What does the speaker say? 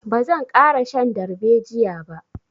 Ba zan ƙara shan darbejiya ba.